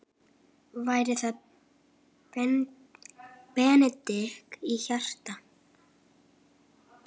Væri það bending á hjarta?